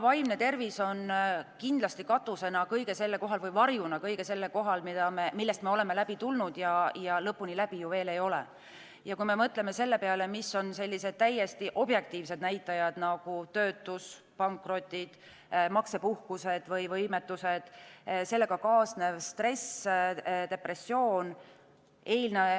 Vaimne tervis on kindlasti varjuna kõige selle kohal, millest me oleme läbi tulnud ja lõpuni läbi ju veel ei ole, kui me mõtleme selle peale, mis on sellised täiesti objektiivsed näitajad, nagu töötus, pankrotid, maksepuhkused või -võimetused, sellega kaasnev stress, depressioon.